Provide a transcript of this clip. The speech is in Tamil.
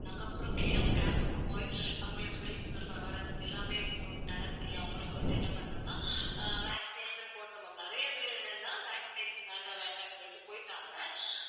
நாங்க அப்புறம் ca~ camp க்கு போய் அவங்களுக்கு விழிப்புணர்வு போய் awareness எல்லாமே போட்~ நடத்தி அவங்களுக்கு வந்து என்ன பண்ணோம்னா அஹ் vaccination போட்டோம் ma'am. நிறைய பேர் என்னன்னா vaccination வேண்டாம் வேண்டாம்ன்னு சொல்லிட்டு போயிட்டாங்க.